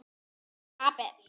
Ég er api.